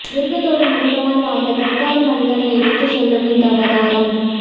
மிருகத்தோடு மிருகமாய் வாழ்ந்த கற்கால மனிதனை எடுத்து சொல்லும் இந்த அவதாரம்